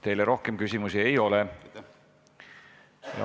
Teile rohkem küsimusi ei ole.